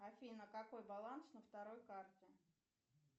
афина какой баланс на второй карте